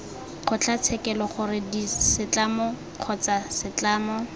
kgotlatshekelo gore setlamo kgotsa setlamo